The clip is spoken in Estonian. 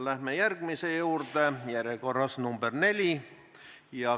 Läheme järgmise küsimuse juurde, järjekorras nr 4.